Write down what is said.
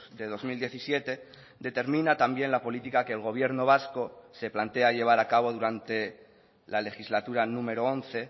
de dos mil diecisiete determina también la política que el gobierno vasco se plantea llevar a cabo durante la legislatura número once